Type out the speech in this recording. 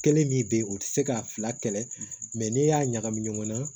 Kelen min bɛ yen o tɛ se k'a fila kɛlɛ mɛ n'e y'a ɲagami ɲɔgɔn na